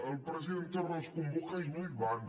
el president torra els convoca i no hi van